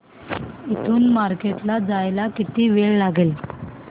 इथून मार्केट ला जायला किती वेळ लागेल